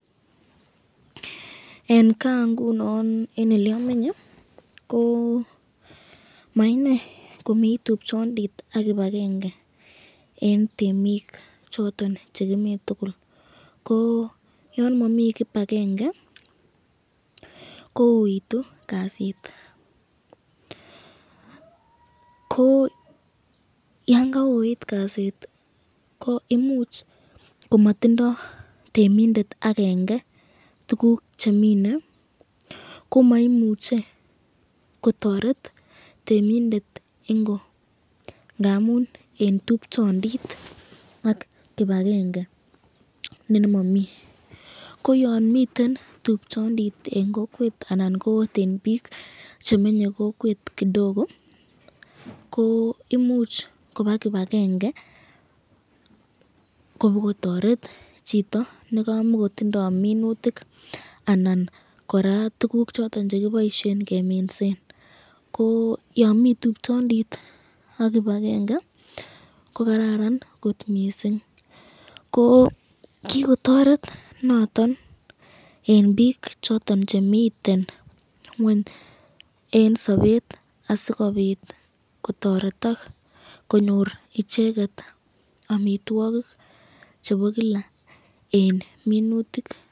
En gaa nguno en ole amenye ko maine komi tupchondit ak kibakenge eng temik choton chekimi tukul ko yon mami kibakenge ko uitu kasit ko yon kayoit kasit ko imuch komatindoi temindet akenge tukuk chemine ko maimuche ko toret temindet ingo ndamun en tupchondit ak kibakenge ne nemomii ko yon mito tupchondit en kokwet anan biik chemenyei kokwet kidogo ko imuch koba kibakenge kopokotoret chito nikamokotindoi minutik anan kora tukuk choton chekiboishen keminsen ko yo mi tupchondit ak kibakenge ko kararan kot mising ko kikotoret noton en biik choton chemiten ng'weny en sobet asikobit kotoretok konyor icheket amitwokik chebo kila eng minutik.